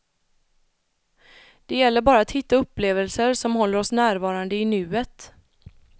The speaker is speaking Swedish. Det gäller bara att hitta upplevelser som håller oss närvarande i nuet.